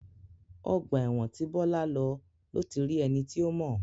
Ọgbà ẹ̀wọ̀n tí Bọ́lá lọ ló ti rí ẹni tí ó mọ̀.